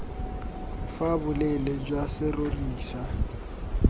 fa boleele jwa serori sa